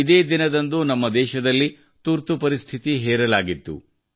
ಇಂದೇ ದಿನದಂದು ನಮ್ಮ ದೇಶದಲ್ಲಿ ತುರ್ತುಪರಿಸ್ಥಿತಿ ಹೇರಲಾಗಿತ್ತು